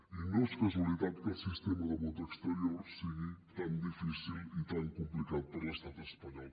i no és casualitat que el sistema de vot exterior sigui tan difícil i tan complicat per l’estat espanyol